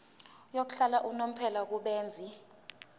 yokuhlala unomphela kubenzi